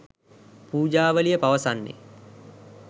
පූජාවලිය පවසන්නේ